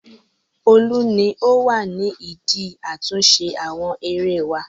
Olú ni ó wà ní ìdí àtúnṣe àwọn erée wá.